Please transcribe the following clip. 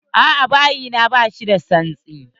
A'a, bayi na bashi da tsantsi.